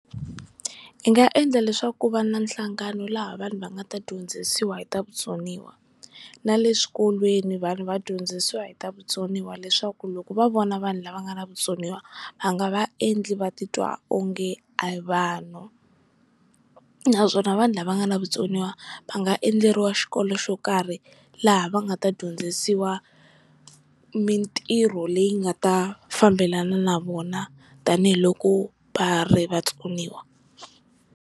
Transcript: Hi nga endla leswaku ku va na nhlangano laha vanhu va nga ta dyondzisiwa hi ta vutsoniwa, na le swikolweni vanhu va dyondzisiwa hi ta vutsoniwa leswaku loko va vona vanhu lava nga na vutsoniwa va nga va endla va titwa onge a hi vanhu naswona vanhu lava nga na vutsoniwa va nga endleriwa xikolo xo karhi laha va nga ta dyondzisiwa mintirho leyi nga ta fambelana na vona tanihiloko va ri vatsoniwa.